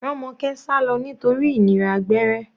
Romoke sálọ nítorí ìnira gbẹ́rẹ́.